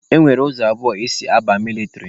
E nwere ụzọ abụọ esi aba mịlịtrị.